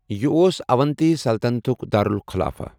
یہِ اوس اونتی سلطنتٗك دارٗلخلافہٕ ۔